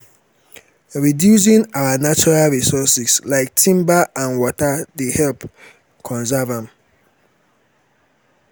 reducing our natural resources like timber and water dey help conserve dem.